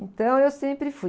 Então, eu sempre fui.